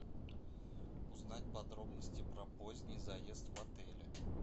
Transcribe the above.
узнать подробности про поздний заезд в отеле